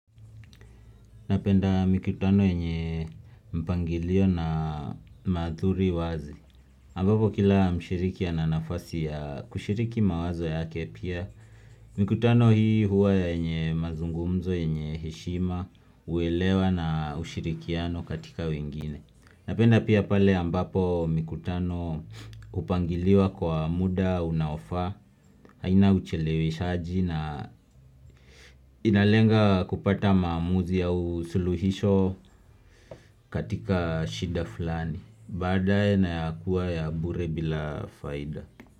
Napenda mikutano yenye mpangilio na maadhuri wazi Ampapo kila mshiriki ana nafasi ya kushiriki mawazo yake pia mikutano hii huwa yenye mazungumzo yenye heshima huelewa na hushirikiano katika wengine Napenda pia pale ambapo mikutano hupangiliwa kwa muda unaofaa haina ucheleweshaji na inalenga kupata maamuzi au suluhisho katika shida fulani Baadae na ya kuwa ya bure bila faida.